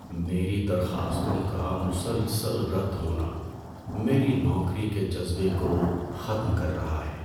میری درخواستوں کا مسلسل رد ہونا میرے نوکری کے جذبے کو ختم کر رہا ہے۔